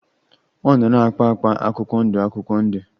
Ọ nọ na-akpa akpa akwụkwọ ndụ akwụkwọ ndụ.